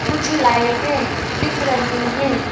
कुछ लाइटें दिख रही हैं।